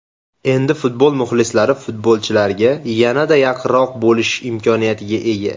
Endi futbol muxlislari futbolchilarga yanada yaqinroq bo‘lish imkoniyatiga ega.